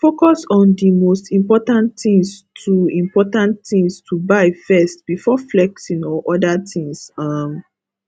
focus on di most important things to important things to buy first before flexing or oda things um